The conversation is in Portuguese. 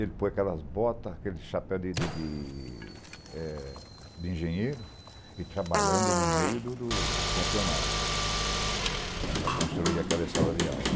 Ele pôr aquelas botas, aquele chapéu de, de, de engenheiro, e trabalhando no meio do, do, dos funcionários, para construir aquela sala de aula.